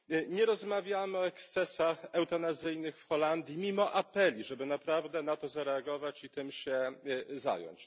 Nie rozmawiamy o ekscesach eutanazyjnych w Holandii mimo apeli, żeby naprawdę na to zareagować i tym się zająć.